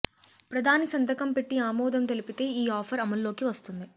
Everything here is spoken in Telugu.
ప్రధాని సంతకం పెట్టి ఆమోదం తెలిపితే ఈ ఆఫర్ అమల్లోకి వస్తుంది